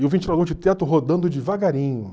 E o ventilador de teto rodando devagarinho.